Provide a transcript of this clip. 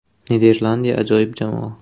Niderlandiya ajoyib jamoa.